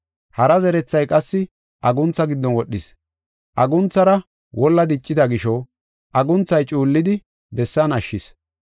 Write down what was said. Hara zerethay qassi aguntha giddon wodhis. Agunthaara wolla diccida gisho agunthay cuullidi bessan ashshis.